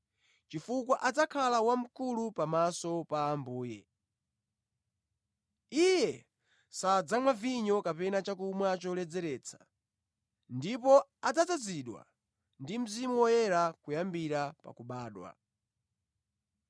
chifukwa adzakhala wamkulu pamaso pa Ambuye. Iye sadzamwa vinyo kapena chakumwa choledzeretsa, ndipo adzazadzidwa ndi Mzimu Woyera kuyambira pa kubadwa.